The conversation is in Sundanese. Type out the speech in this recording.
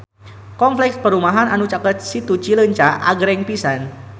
Kompleks perumahan anu caket Situ Cileunca agreng pisan